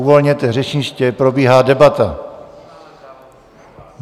Uvolněte řečniště, probíhá debata.